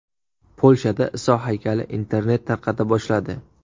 Polshada Iso haykali internet tarqata boshladi.